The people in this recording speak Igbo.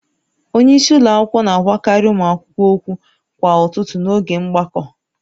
Onye isi ụlọ akwụkwọ na-agwakarị ụmụ akwụkwọ okwu kwa ụtụtụ n'oge mgbakọ